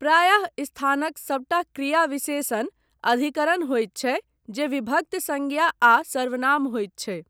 प्रायः स्थानक सभटा क्रियाविशेषण 'अधिकरण' होयत छै जे विभक्त संज्ञा आ सर्वनाम होइत छै।